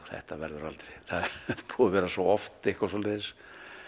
þetta verður aldrei það er búið að vera svo oft eitthvað svoleiðis